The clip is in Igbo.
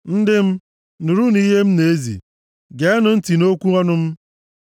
Ndị m, nụrụnụ ihe m na-ezi; geenụ ntị nʼokwu ọnụ m.